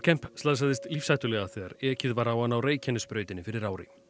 slasaðist lífshættulega þegar ekið var á hann á Reykjanesbrautinni fyrir ári